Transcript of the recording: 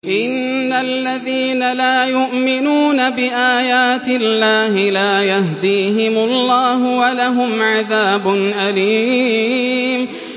إِنَّ الَّذِينَ لَا يُؤْمِنُونَ بِآيَاتِ اللَّهِ لَا يَهْدِيهِمُ اللَّهُ وَلَهُمْ عَذَابٌ أَلِيمٌ